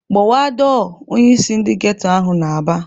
"Gbawa dọọ!" Onyeisi ndị geto ahụ na-aba.